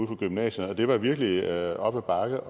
på gymnasierne og det var virkelig op ad bakke